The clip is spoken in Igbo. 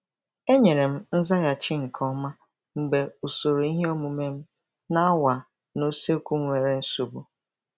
Enyere m nzaghachi nke ọma mgbe usoro ihe omume m na awa n' usekwu nwere nsogbu.